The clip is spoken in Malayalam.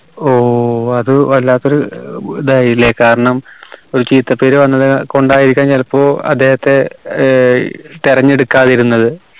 ഓ അത് വല്ലാത്തൊരു ഏർ ഇതായില്ലേ കാരണം ഒരു ചീത്തപ്പേര് വന്നത് കൊണ്ടായിരിക്കാം ചിലപ്പോ അദ്ധെഅഹത്തെ ഏർ തിരഞ്ഞെടുക്കാതിരുന്നത്